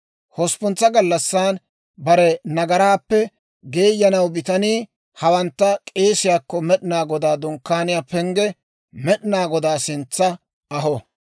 «Hosppuntsa gallassan bare nagaraappe geeyanaw bitanii hawantta k'eesiyaakko Med'inaa Godaa Dunkkaaniyaa pengge Med'inaa Godaa sintsa aho.